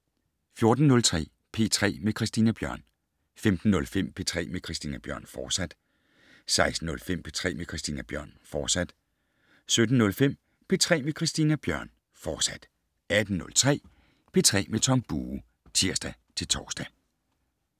14:03: P3 med Christina Bjørn 15:05: P3 med Christina Bjørn, fortsat 16:05: P3 med Christina Bjørn, fortsat 17:05: P3 med Christina Bjørn, fortsat 18:03: P3 med Tom Bue (tir-tor)